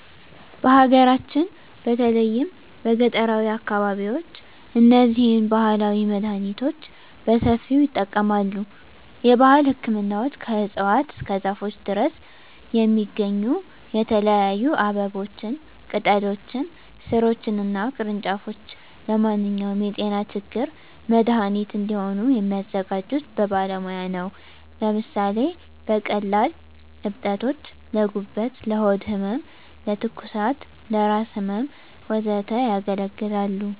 በሀገራችን በተለይም በገጠራዊ አካባቢዎች እነዚህን ባህላዊ መድሃኒቶች በሰፊው ይጠቀማሉ። የባህል ህክምናዎች ከእፅዋት እስከ ዛፎች ድረስ የሚገኙ የተለያዩ አበቦችን፣ ቅጠሎችን፣ ሥሮችን እና ቅርንጫፎች ለማንኛውም የጤና ችግር መድሃኒት እንዲሆኑ የሚያዘጋጁት በባለሙያ ነው። ለምሳሌ ለቀላል እብጠቶች: ለጉበት፣ ለሆድ ህመም፣ ለትኩሳት፣ ለራስ ህመም፣ ወዘተ ያገለግላሉ።